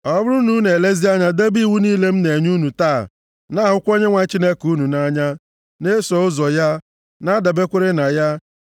Ọ bụrụ na unu elezie anya debe iwu niile m na-enye unu taa, na-ahụkwa Onyenwe anyị Chineke unu nʼanya, na-eso ụzọ ya, na-adaberekwa na ya,